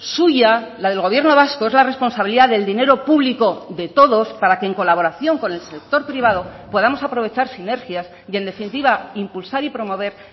suya la del gobierno vasco es la responsabilidad del dinero público de todos para que en colaboración con el sector privado podamos aprovechar sinergias y en definitiva impulsar y promover